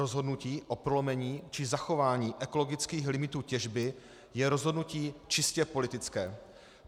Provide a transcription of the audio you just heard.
Rozhodnutí o prolomení či zachování ekologických limitů těžby je rozhodnutí čistě politické.